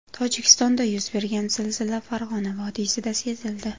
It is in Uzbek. Tojikistonda yuz bergan zilzila Farg‘ona vodiysida sezildi.